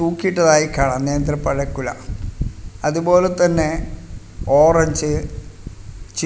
തൂക്കിട്ടതായിക്കാണാം നേന്ത്രപ്പഴക്കുഴ അതുപോലതന്നേ ഓറഞ്ച് ച്ചി--